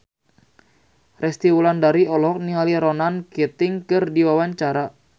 Resty Wulandari olohok ningali Ronan Keating keur diwawancara